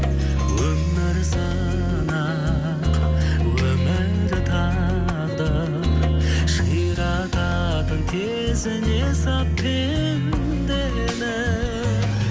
өмір сынақ өмір тағдыр ширататын тезіне салып пендені